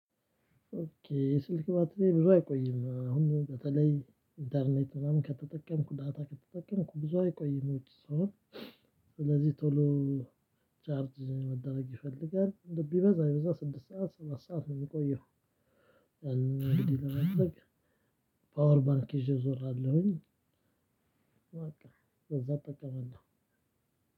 'ኦኬ' የስልክ ባትሪዬ ብዙ አይቆይም። አሁን በተለይ ኢንተርኔት ምናምን ከተጠቀምኩ 'ዳታ' ከተጠቀምኩ ብዙ አይቆይም ውጪ ስሆን። ስለዚህ ቶሎ ቻርድ መደረግ ይፈልጋል። ቢበዛ ስድስት ሰዓት ሰባት ሰዓት ነው የምቆየው። እንግዲህ ለመጥለቅ ፓወር ባንክ ይዤ እዞራለሁኝ። በዛ እጠቀማለሁ።